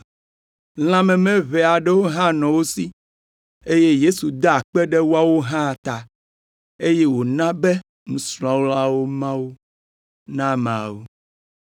Lã meme ʋe aɖewo hã nɔ wo si, eye Yesu da akpe ɖe woawo hã ta, eye wòna be nusrɔ̃lawo ma wo na ameawo.